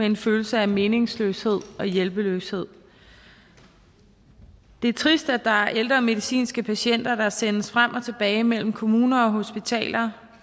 en følelse af meningsløshed og hjælpeløshed det er trist at der er ældre medicinske patienter der sendes frem og tilbage mellem kommuner og hospitaler